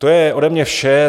To je ode mě vše.